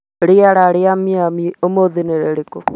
rĩera rĩa Miami ũmũthĩ nĩ rĩrĩkũ